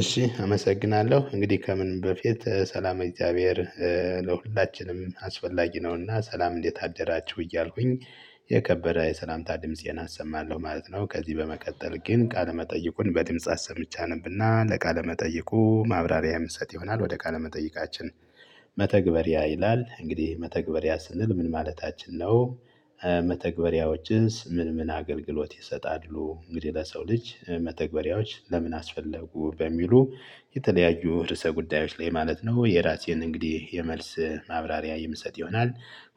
እሺ አመሰግናለሁ። እንግዲህ ከምን በፊት ሰላመ እግዚአብሔር ለሁላችንም አስፈላጊ ነውና ሰላም እንዴት አደራችሁ? እያልኩኝ የከበረ የሰላምታ ድምፄን አሰማለሁ ማለት ነው። ከዚህ በመቀጠል ግን ቃል መጠይቁን በድምጽ አሰምቼ አነብና ለቃለ መጠይቁ ማብራሪያ የምሰጥ ይሆናል። ወደ ቃለ መጠይቃችን መተግበሪያ ይላል። እንግዲህ መተግበሪያ ስንል ምን ማለታችን ነው። መተግበሪያዎችስ ምን ምን አገልግሎት ይሰጣሉ? እንግዲህ ለሰው ልጅ መተግበሪያዎች ለምን አስፈለጉ? በሚሉ የተለያዩ ርዕሰ ጉዳዮች ላይ ማለት ነው የራሴን እንግዲህ የመልስ ማብራሪያ የምሰጥ ይሆናል።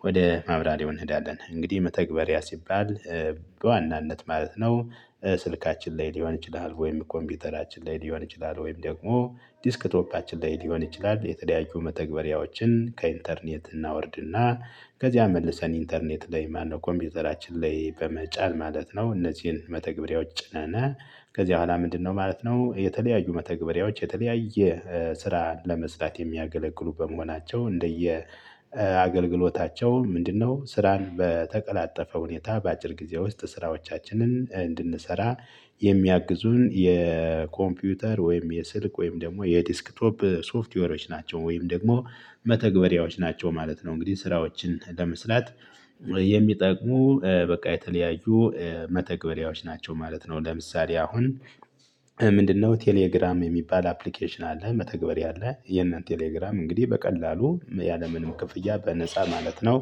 ወደ ማብራሪያው እንሄዳለን። እንግዲህ መተግበሪያ ሲባል በዋናነት ማለት ነው። ስልካችን ላይ ሊሆን ይችላል ወይም ኮምፒውተራችን ላይ ሊሆን ይችላል ወይም ደግሞ ዲስክቶፓችን ላይ ሊሆን ይችላል፤ የተደያዩ መተግበሪያዎችን ከኢንተርኔት እናወርድና ከዚያ መልሰን ኢንተርኔት ላይ ማነው ኮምፒውተራችን ላይ በመጫን ማለት ነው። እነዚህን መተግበሪያዎች ጭነን ከዚህ በኋላ ምንድነው ማለት ነው የተለያዩ መተግበሪያዎች የተለያየ ስራ ለመስራት የሚያገለግሉ በመሆናቸው እንደየ አገልግሎታቸው ምንድነው ስራን በተቀላጠፈ ሁኔታ በአጭር ጊዜ ውስጥ ስራዎቻችንን እንድንሰራ የሚያግዙን የኮምፒውተር ወይም የስልክ ወይም ደግሞ የዲስክቶፕ ሶፍትዌሮች ናቸው። ወይም ደግሞ መተግበሪያዎች ናቸው ማለት ነው። እንግዲህ ስራዎችን ለመስላት የሚጠቅሙ በቃ የተለያዩ መተግበሪያዎች ናቸው ማለት ነው። ለምሳሌ አሁን ምንድነው ቴሌግራም የሚባል አፕሊኬሽን አለ። መተግበሪያ ያለ። የሄንን ቴሌግራም እንግዲህ በቀላሉ ያለምንም ክፍያ በነፃ ማለት ነው።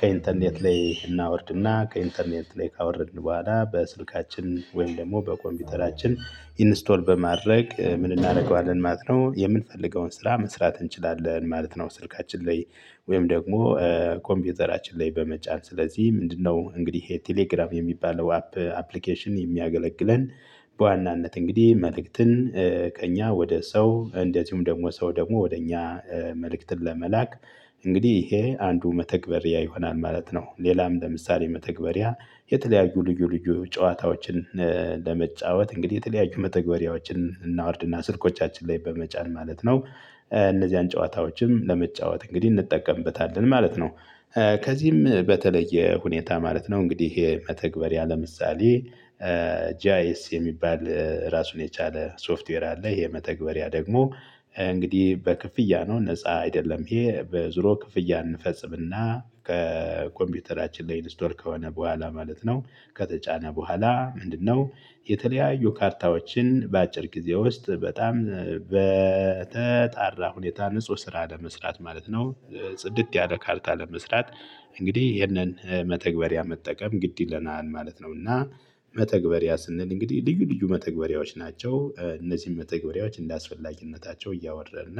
ከኢንተርኔት ላይ እናወርድና ከኢንተርኔት ላይ ካወረድን በኋላ በስልካችን ወይም ደግሞ በኮምፒውተራችን ኢንስቶል በማድረግ ምን እናደርገዋለን ማለት ነው የምንፈልገውን ስራ መስራት እንችላለን ማለት ነ። ው ስልካችን ላይ ወይም ደግሞ ኮምፒውተራችን ላይ በመጫን ስለዚህ ምንድነው እንግዲህ ይሄ ቴሌግራም የሚባለው አፕ አፕሊኬሽን የሚያገለግለን በዋናነት እንግዲህ መልእክትን ከእኛ ወደ ሰው እንደዚሁም ደግሞ ሰው ደግሞ ወደ እኛ መልእክትን ለመላክ እንግዲህ ይሄ አንዱ መተግበሪያ ይሆናል ማለት ነው። ሌላም ለምሳሌ መተግበሪያ የተለያዩ ልዩ ልዩ ጨዋታዎችን ለመጫወት እንግዲህ የተለያዩ መተግበሪያዎችን እናውርድና ስልኮቻችን ላይ በመጫን ማለት ነው እነዚህን ጨዋታዎችም ለመጫወት እንግዲህ እንጠቀምበታለን ማለት ነው። ከዚህም በተለየ ሁኔታ ማለት ነው እንግዲህ ይሄ መተግበሪያ ምሳሌ ጂአይኤስ የሚባል ራሱን የቻለ ሶፍትዌር አለ። የመተግበሪያ ደግሞ እንግዲህ በክፍያ ነው ነፃ አይደለም። ይሄ በዙሮ ክፍያ እንፈጽምና ከኮምፒውተራችን ላይ ስቶር ከሆነ በኋላ ማለት ነው ከተጫነ በኋላ ምንድነው የተለያዩ ካርታዎችን በአጭር ጊዜ ውስጥ በጣም በተጣራ ሁኔታ ንጹህ ስራ ለመስራት ማለት ነው ጽድት ያለ ካርታ ለመስራት እንግዲህ ይሄንን መተግበሪያ መጠቀም ግድ ይለናል ማለት ነው። እና መተግበሪያ ስንል እንግዲህ ልዩ ልዩ መተግበሪያዎች ናቸው። እነዚህን መተግበሪያዎች እንዳስፈላጊነታቸው እያወረድን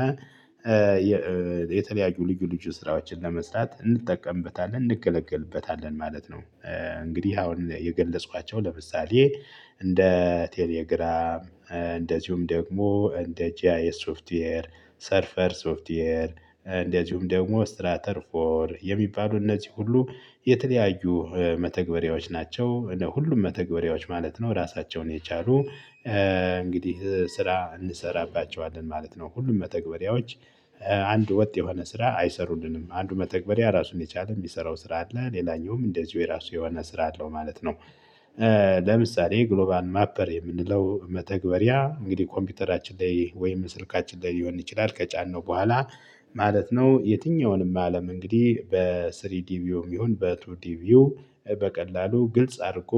የተለያዩ ልዩ ልዩ ስራዎችን ለመስራት እንጠቀምበታለን እንገለግልበታለን ማለት ነው። እንግዲህ አሁን የገለጽኳቸው ለምሳሌ እንደ ቴሌግራም እንደዚሁም ደግሞ እንደ ጂአይ ሶፍትዌር ሰርፈር ሶፍትዌር እንደዚሁም ደግሞ ስትራተር ፎር የሚባሉ እነዚህ ሁሉ የተለያዩ መተግበሪያዎች ናቸው። ሁሉም መተግበሪያዎች ማለት ነው ራሳቸውን የቻሉ እንግዲህ ስራ እንሰራባቸዋለን ማለት ነው። ሁሉም በተግባሪዎች አንድ ወጥ የሆነ ስራ አይሰሩልንም። አንዱ መተግበሪያ ራሱን የቻለው የሚሰራው ስራ አለ። ሌላኛውም እንደዚሁ የራሱ የሆነ ስራ አለው ማለት ነው። ለምሳሌ ግሎባል ማፐር የምንለው መተግበሪያ እንግዲህ ኮምፒውተራችን ላይ ወይም ስልካችን ላይ ሊሆን ይችላል ከጫነው በኋላ ማለት ነው የትኛውንም አለም እንግዲህ በስሪዲ ቪውም ቢሆን በቱዲ ቪው በቀላሉ ግልጽ አድርጎ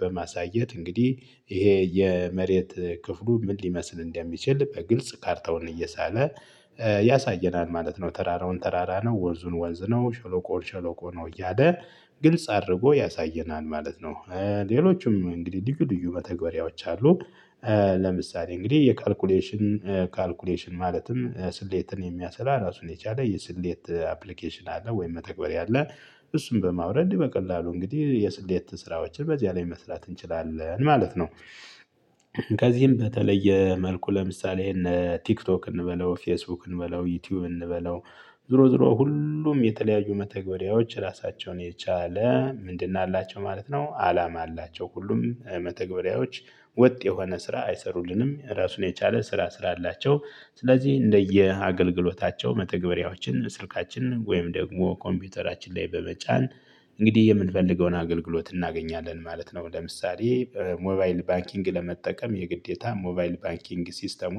በማሳየት እንግዲህ ይሄ የመሬት ክፍሉ ምን ሊመስል እንደሚችል በግልጽ ካርታውን እየሳለ ያሳየናል ማለት ነው። ተራራውን ተራራ ነው፣ ወንዙን ወንዝ ነው፣ ሸሎቆን ሸሎቆ ነው እያለ ግልጽ አድርጎ ያሳየናል ማለት ነው። ሌሎችም እንግዲህ ልዩ ልዩ መተግበሪያዎች አሉ፤ ለምሳሌ እንግዲህ የካልኩሌሽን ካልኩሌሽን ማለትም ስሌትን የሚያሰላ ራሱን የቻለ የስሌት አፕሊኬሽን አለ። ወይም መተግበሪያ አለ። እሱን በማውረድ በቀላሉ እንግዲህ የስሌት ስራዎችን በዚያ ላይ መስራት እንችላለን ማለት ነው። ከዚህም በተለየ መልኩ ለምሳሌ እነ ቲክቶክ እንበለው ፌስቡክ እንበለው ዩቲዩብ እንበለው ዞሮ ዞሮ ሁሉም የተለያዩ መተግበሪያዎች ራሳቸውን የቻለ ምንድን አላቸው ማለት ነው አላማ አላቸው። ሁሉም መተግበሪያዎች ወጥ የሆነ ስራ አይሰሩልንም ራሱን የቻለ ስራ ስላላቸው። ስለዚህ እንደየ አገልግሎታቸው መተግበሪያዎችን ስልካችንን ወይም ደግሞ ኮምፒውተራችን ላይ በመጫን እንግዲህ የምንፈልገውን አገልግሎት እናገኛለን ማለት ነው። ለምሳሌ ሞባይል ባንኪንግ ለመጠቀም የግዴታ ሞባይል ባኪንግ ሲስተሙን